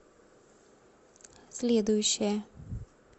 следующая